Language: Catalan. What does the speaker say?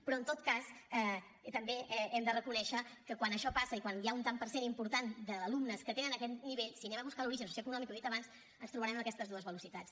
però en tot cas també hem de reconèixer que quan això passa i quan hi ha un tant per cent important d’alumnes que tenen aquest nivell si anem a buscar l’origen socioeconòmic i ho he dit abans ens trobarem amb aquestes dues velocitats